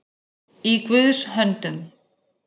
Í Guðs höndum